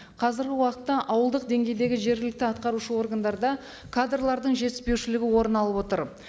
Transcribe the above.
қазіргі уақытта ауылдық деңгейдегі жергілікті атқарушы органдарда кадрлардың жетіспеушілігі орын алып отыр